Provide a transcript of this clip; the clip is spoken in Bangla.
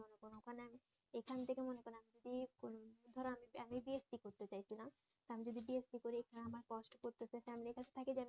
আমি যদি বিএসসি করি এখা নে আমার কস্ট পড়তেছে ফ্যামিলির কাছে থাকি